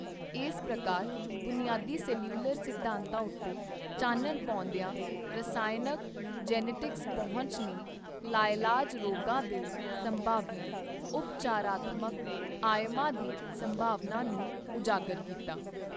ਇਸ ਪ੍ਰਕਾਰ ਬੁਨਿਆਦੀ ਸੈਲਿਊਲਰ ਸਿਧਾਂਤਾਂ ਉੱਤੇ ਚਾਨਣ ਪਾਉਂਦਿਆਂ ਰਸਾਇਣਕ ਜੀਨੈਟਿਕਸ ਪਹੁੰਚ ਨੇ ਲਾਇਲਾਜ ਰੋਗਾਂ ਦੇ ਸੰਭਾਵੀ ਉਪਚਾਰਾਤਮਕ ਆਯਾਮਾਂ ਦੀ ਸੰਭਾਵਨਾ ਨੂੰ ਉਜਾਗਰ ਕੀਤਾ।